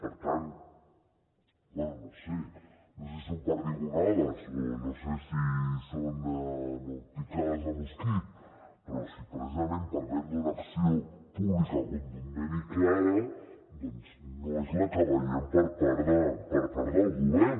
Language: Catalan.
per tant bé no sé no sé si són perdigonades o no sé si són picades de mosquit però si precisament parlem d’una acció pública contundent i clara doncs no és la que veiem per part del govern